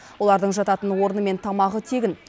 олардың жататын орны мен тамағы тегін